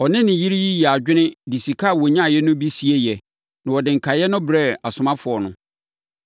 Ɔne ne yere yi yɛɛ adwene de sika a wɔnyaeɛ no bi sieeɛ na wɔde nkaeɛ no brɛɛ asomafoɔ no.